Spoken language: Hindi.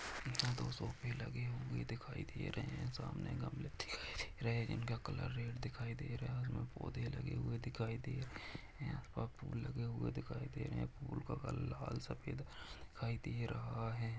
दो सोफे लगे हुए दिखाई दे रहे है सामने गमले दिखाई दे रहे है इनका कलर रेड दिखाई दे रहा है पौधे लगे हुए दिखाई दे रहे है और फूल लगे हुए दिखाई दे रहे है फुल का कलर लाला सफ़ेद दिखाई दे रहा है।